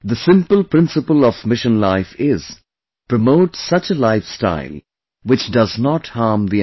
The simple principle of Mission Life is Promote such a lifestyle, which does not harm the environment